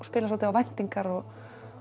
spilar svolítið á væntingar og